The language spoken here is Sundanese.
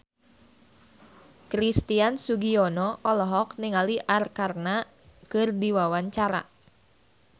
Christian Sugiono olohok ningali Arkarna keur diwawancara